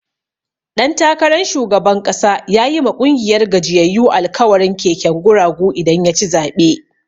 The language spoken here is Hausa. Ɗan takaran shugaban ƙasa yayi ma ƙungiyar gajiyyayu alkawarin keken guragu idan yaci zaɓe.